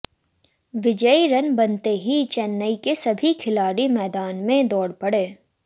विजयी रन बनते ही चेन्नई के सभी खिलाड़ी मैदान में दौड़ पड़े